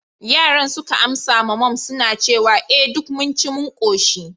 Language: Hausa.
yaran suka amsa ma mum suna cewa, eh duk mun ci mun koshi